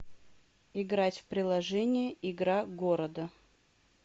играть в приложение игра города